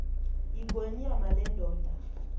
yingonyama le ndoda